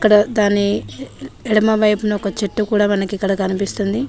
ఇక్కడ దనే ఎడమవైపున ఒక చెట్టు కూడా మనకి ఇక్కడ కనిపిస్తుంది